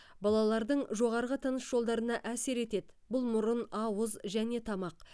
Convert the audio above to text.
балалардың жоғарғы тыныс жолдарына әсер етеді бұл мұрын ауыз және тамақ